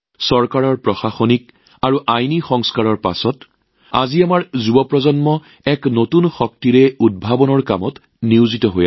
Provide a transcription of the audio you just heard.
চৰকাৰে কৰা প্ৰশাসনিক আৰু আইনী সংস্কাৰৰ পিছত আজি আমাৰ যুৱকযুৱতীসকলে নৱীকৃত শক্তিৰে বৃহৎ পৰিসৰত উদ্ভাৱনত নিয়োজিত হৈছে